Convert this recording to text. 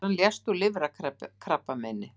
Þegar hann lést úr lifrarkrabbameini